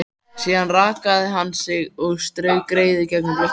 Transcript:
Síðan rakaði hann sig og strauk greiðu gegnum blautt hárið.